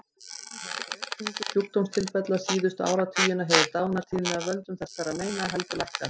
Þrátt fyrir aukningu sjúkdómstilfella síðustu áratugina hefur dánartíðni af völdum þessara meina heldur lækkað.